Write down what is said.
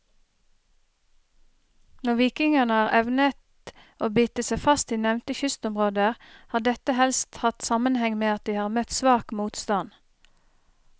Når vikingene har evnet å bite seg fast i nevnte kystområder, har dette helst hatt sammenheng med at de har møtt svak motstand.